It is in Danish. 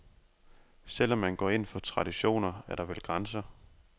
Selv om man går ind for traditioner, er der vel grænser.